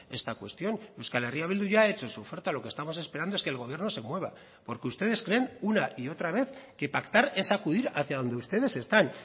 esta cuestión euskal herria bildu ya ha hecho su oferta lo que estamos esperando es que el gobierno se mueva porque ustedes creen una y otra vez que pactar es acudir hacia donde ustedes están